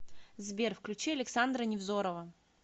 сбер включи александра невзорова